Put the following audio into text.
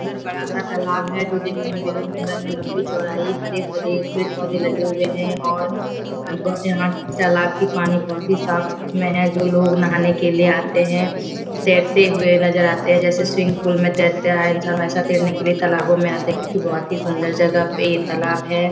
अंदर बड़ा सा तालाब है। जो देखने में बेहद सुंदर है लम्बी चौड़ाई हरे-भरे पेड़-पौधे लगे हुए है और अ ब यहाँ तालाब के पानी बहुत ही साफ में है जो लोग नहाने के लिए आते हैं। तैरते हुए नज़र आते है जैसे स्विमिंग पुल में तैरते आ इंसान वैसा तैरने के लिए तालाबों में आते है। क्यूंकि बहुत ही सुंदर जगह पे ये तालाब है।